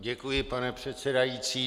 Děkuji, pane předsedající.